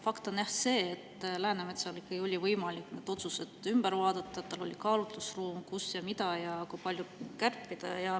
Fakt on jah see, et Läänemetsal oli võimalik need otsused ümber vaadata, tal oli kaalutlusruum, kus, mida ja kui palju kärpida.